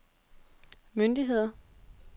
myndigheder